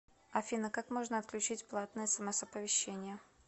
афина как можно отключить платные смс оповещения